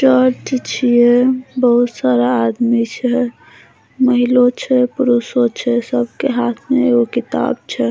चर्च छीये बहुत सारा आदमी छै महिलो छै पुरुषों छै सब के हाथ मे एगो किताब छै।